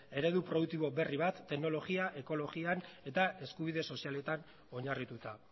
eredu produktibo berri bat teknologian ekologian eta eskubide sozialetan oinarrituta